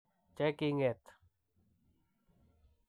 che king'et.